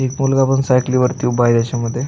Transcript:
एक मुलगा पण सायकली वरती उभा आहे याच्या मध्ये.